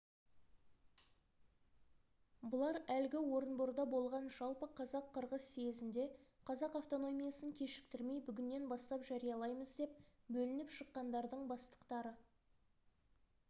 бұлар әлгі орынборда болған жалпы қазақ-қырғыз съезінде қазақ автономиясын кешіктірмей бүгіннен бастап жариялаймыз деп бөлініп шыққандардың бастықтары